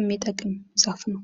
የሚጠቅም ዛፍ ነው።